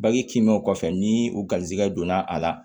Bange kinbɛ kɔfɛ ni u garisɛgɛ donna a la